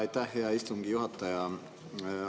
Aitäh, hea istungi juhataja!